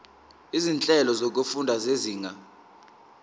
izinhlelo zokufunda zezinga